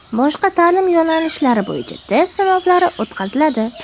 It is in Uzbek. boshqa ta’lim yo‘nalishlari bo‘yicha test sinovlari o‘tkaziladi;.